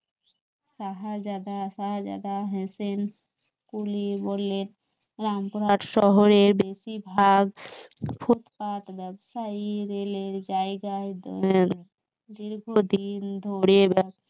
শাহাজাদা সাহাজাদা হেসেন কুলি বললেন রামপুরহাট শহরে বেশিরভাগ ফুটপাত ব্যবসায়ী রেলের জায়গায় দীর্ঘদিন ধরে ব্যবসা